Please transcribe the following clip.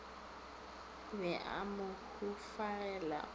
be a mo hufagela o